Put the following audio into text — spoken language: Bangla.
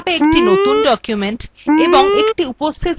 calca কিভাবে একটি নতুন document